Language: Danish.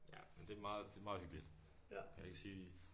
Ja men det meget hyggeligt jeg kan ikke sige